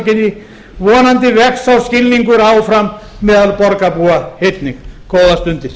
vonandi vex sá skilningur áfram meðal borgarbúa einnig góðar stundir